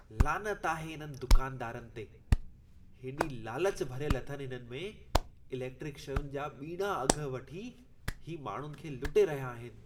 लानत आहे इन्हनि दुकानदारनि ते! हेॾी लालच भरियल अथनि हिननि में! इलेक्ट्रिक शयुनि जा ॿीणा अघ वठी ही माण्हुनि खे लुटे रहिया आहिनि।